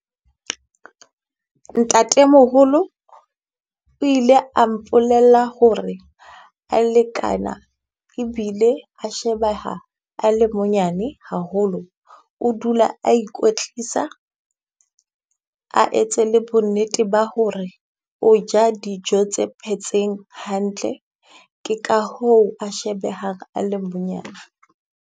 Ntatemoholo o ile a mpolella ho re a lekana ebile a shebeha a le monyane haholo. O dula a ikwetlisa, a etse le bonnete ba ho re o ja dijo tse phetseng hantle. Ke ka hoo a shebehang a le .